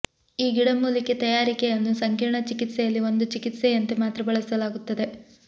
ಈ ಗಿಡಮೂಲಿಕೆ ತಯಾರಿಕೆಯನ್ನು ಸಂಕೀರ್ಣ ಚಿಕಿತ್ಸೆಯಲ್ಲಿ ಒಂದು ಚಿಕಿತ್ಸೆಯಂತೆ ಮಾತ್ರ ಬಳಸಲಾಗುತ್ತದೆ